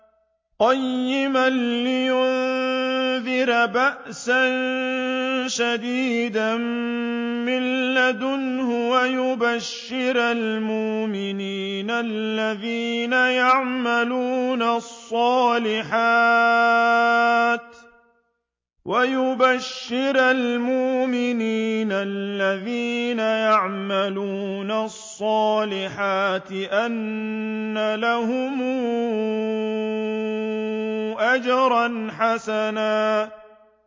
قَيِّمًا لِّيُنذِرَ بَأْسًا شَدِيدًا مِّن لَّدُنْهُ وَيُبَشِّرَ الْمُؤْمِنِينَ الَّذِينَ يَعْمَلُونَ الصَّالِحَاتِ أَنَّ لَهُمْ أَجْرًا حَسَنًا